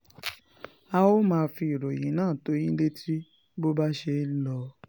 a ó máa fi ìròyìn náà tó yín létí bó bá ṣe ń lọ